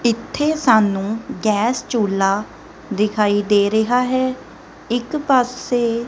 ਇਥੇ ਸਾਨੂੰ ਗੈਸ ਚੁਲਾ ਦਿਖਾਈ ਦੇ ਰਿਹਾ ਹੈ ਇੱਕ ਪਾਸੇ --